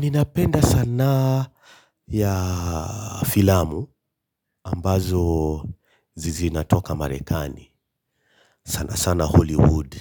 Ninapenda sanaa ya filamu ambazo zinatoka Marekani. Sana sana Hollywood